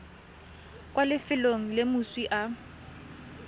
kwa lefelong le moswi a